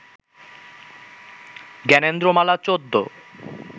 Gyanendra Mala ১৪